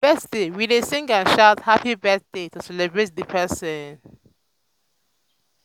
on birthdays we dey sing and shout "happy birthday!" to celebrate the person.